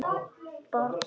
Barn að skoða sínar tær.